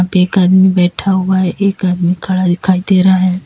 एक आदमी बैठा हुआ है एक आदमी खड़ा दिखाई दे रहा है।